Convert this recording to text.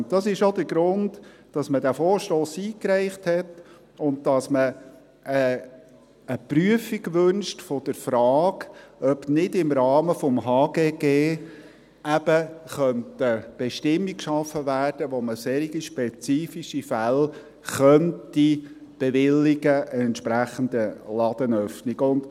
Dies ist auch der Grund, weshalb der Vorstoss eingereicht wurde und weshalb man eine Prüfung der Frage wünscht, ob nicht im Rahmen des HGG eben eine Bestimmung geschaffen werden könnte, welche besagt, dass man in spezifischen Fällen eine entsprechende Ladenöffnung bewilligen könnte.